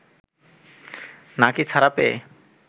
নাকি ছাড়া পেয়ে